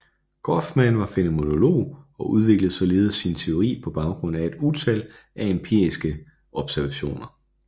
Goffman var fænomenolog og udviklede således sin teori på baggrund af et utal af empiriske observationer